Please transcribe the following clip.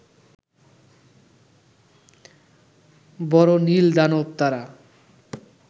বড় নীল দানব তারা